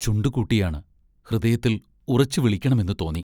ചുണ്ടുകൂട്ടിയാണ്; ഹൃദയത്തിൽ ഉറച്ചു വിളിക്കണമെന്നു തോന്നി.